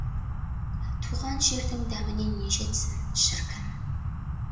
туған жердің дәміне не жетсін шіркін